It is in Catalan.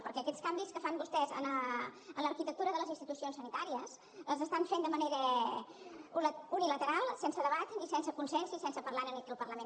perquè aquests canvis que fan vostès en l’arquitectura de les institucions sanitàries els estan fent de manera unilateral sense debat i sense consens i sense parlar ne aquí al parlament